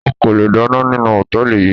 O kò le dáná nínú Hòtẹ́lìì yí.